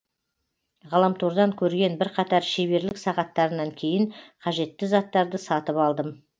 ғаламтордан көрген бірқатар шеберлік сағаттарынан кейін қажетті заттарды сатып алдым